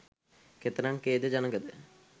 කෙතරම් ඛේද ජනක ද?